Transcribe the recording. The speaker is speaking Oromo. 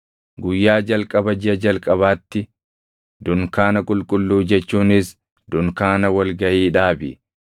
“Guyyaa jalqaba jiʼa jalqabaatti dunkaana qulqulluu jechuunis dunkaana wal gaʼii dhaabi.